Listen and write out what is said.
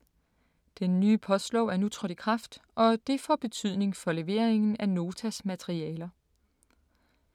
Den nye postlov er nu trådt i kraft og det får betydning for leveringen af Notas materialer.